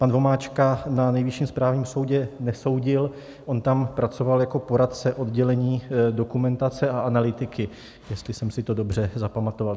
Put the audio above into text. Pan Vomáčka na Nejvyšším správním soudě nesoudil, on tam pracoval jako poradce oddělení dokumentace a analytiky, jestli jsem si to dobře zapamatoval.